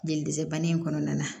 Jeli dɛsɛ bana in kɔnɔna na